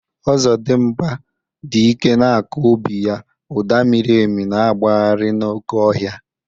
Ọzọdimgba dị ike na-akụ obi ya, ụda miri emi na-agbagharị n'oké ọhịa